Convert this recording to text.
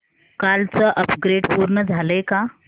कालचं अपग्रेड पूर्ण झालंय का